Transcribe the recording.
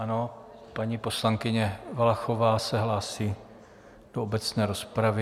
Ano, paní poslankyně Valachová se hlásí do obecné rozpravy.